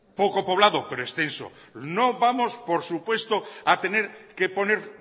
poco poblado pero extenso no vamos por supuesto a tener que poner